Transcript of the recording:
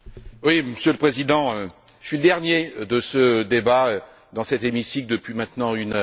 Monsieur le Président, je suis le dernier de ce débat dans cet hémicycle depuis maintenant une heure.